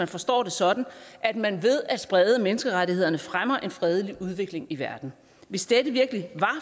forstås sådan at man ved at sprede menneskerettighederne fremmer en fredelig udvikling i verden hvis dette virkelig var